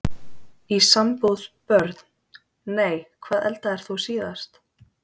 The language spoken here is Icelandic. Í sambúð Börn: Nei Hvað eldaðir þú síðast?